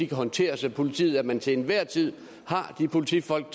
kan håndteres af politiet og at man til enhver tid har de politifolk